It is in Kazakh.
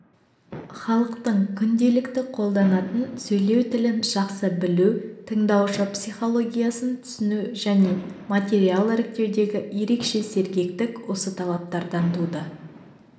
халықтың күнделікті қолданатын сөйлеу тілін жақсы білу тыңдаушы психологиясын түсіну және материал іріктеудегі ерекше сергектік осы талаптардан туды